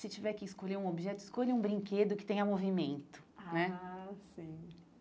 Se tiver que escolher um objeto, escolha um brinquedo que tenha movimento né ah sim.